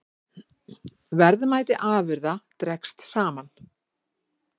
Verðmæti afurða dregst saman